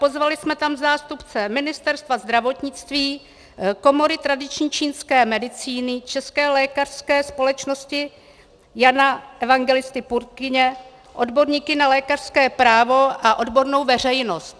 Pozvali jsme tam zástupce Ministerstva zdravotnictví, Komory tradiční čínské medicíny, České lékařské společnosti Jana Evangelisty Purkyně, odborníky na lékařské právo a odbornou veřejnost.